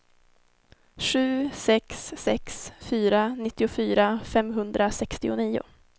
sju sex sex fyra nittiofyra femhundrasextionio